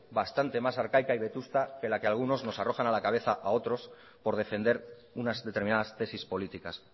bastante más arcaica y vetusta que la que algunos nos arrojan a la cabeza a otros por defender unas determinadas tesis políticas